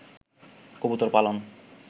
কবুতর পালন